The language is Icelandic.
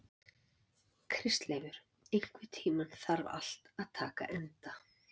Kristleifur, einhvern tímann þarf allt að taka enda.